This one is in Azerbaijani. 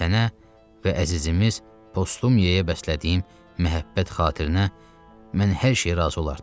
Sənə və əzizimiz Postumiyaya bəslədiyim məhəbbət xatirinə mən hər şeyə razı olardım.